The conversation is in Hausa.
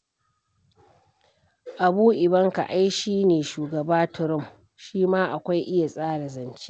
Abu Ivanka ai shi ne shugaba Trump, shi ma akwai iya tsara zance.